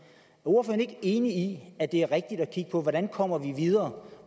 ordføreren ikke enig i at det er rigtigt at kigge på hvordan vi kommer videre